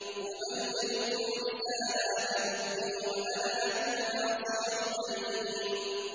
أُبَلِّغُكُمْ رِسَالَاتِ رَبِّي وَأَنَا لَكُمْ نَاصِحٌ أَمِينٌ